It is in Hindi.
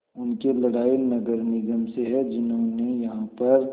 उनकी लड़ाई नगर निगम से है जिन्होंने यहाँ पर